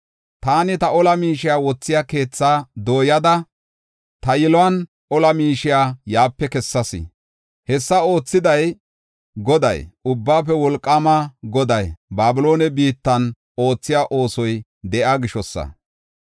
Taani ta ola miishiya wothiya keethaa dooyada, ta yiluwan ola miishiya yaape kessas. Hessa oothiday, Goday, Ubbaafe Wolqaama Goday Babiloone biittan oothiya oosoy de7iya gishosa.